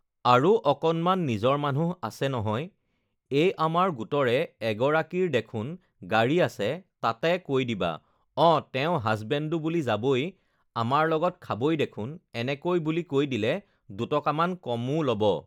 আৰু অকণমান নিজৰ মানুহ আছে নহয় এই আমাৰ গোটৰে এগৰাকীৰ দেখোন গাড়ী আছে তাতে কৈ দিবা অঁ তেওঁ হাজবেণ্ডো বুলি যাবই আমাৰ লগত খাবই দেখোন এনেকৈ বুলি কৈ দিলে দুটকামান কমো ল'ব